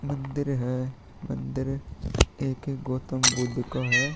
मंदिर है मंदिर एक एक गौतम बुद्ध का है।